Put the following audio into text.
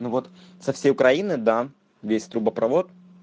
но вот со всей украины да весь трубопровод